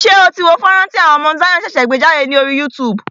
Ṣé o tí wo fọ́nrán tí àwọn Mount Zion ṣẹ̀ṣẹ̀ gbé jádè lórí YouTube?